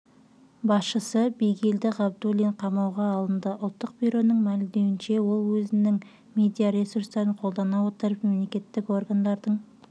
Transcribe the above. басшысы бигелді ғабдуллин қамауға алынды ұлттық бюроның мәлімдеуінше ол өзінің медиаресурстарын қолдана отырып мемлекеттік органдардың